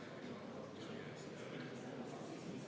Aitäh, hea kolleeg!